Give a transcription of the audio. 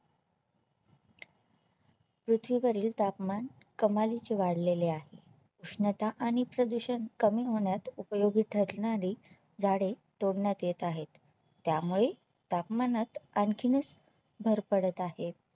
पृथ्वीवरील तापमान कमालीचे वाढलेले आहे उष्णता आणि प्रदूषण कमी होण्यात उपयोगी ठरणारी झाडे तोडण्यात येत आहेत त्यामुळे तापमानात आणखीनच भर पडत आहे